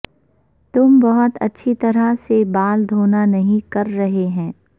تم بہت اچھی طرح سے کے بال دھونا نہیں کر رہے ہیں